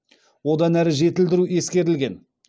одан әрі жетілдіру ескерілген